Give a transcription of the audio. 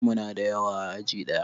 Muna da yawa a aji ɗaya